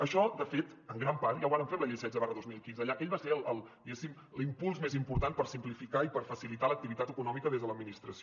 això de fet en gran part ja ho vàrem fer amb la llei setze dos mil quinze aquell va ser diguéssim l’impuls més important per simplificar i per facilitar l’activitat econòmica des de l’administració